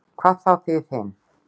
Hvað þá þið hin.